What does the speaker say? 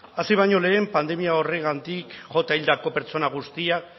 hasi baino lehen pandemia honengatik jota hildako pertsona guztiak